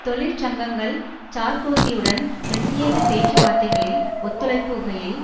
தொழிற்சங்கங்கள் சார்க்கோசியுடன் பிரத்தியேக பேச்சு வார்த்தைகளில் ஒத்துழைப்புகையில்